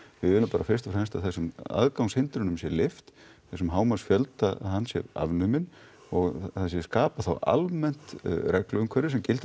við viljum bara fyrst og fremst að þessum aðgangshindrunum sé lyft þessum hámarksfjölda hann sé afnuminn og það skapi þá almennt reglu umhverfi sem gildi